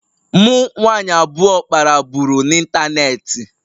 Mụ nwanyị abụọ kpara buru n'ịntanetị